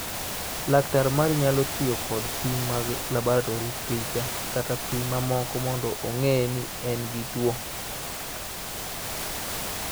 Laktar mari nyalo tiyo kod pim mag laboratori, picha, kata pim mamoko mondo ong�e ni en gi tuwo.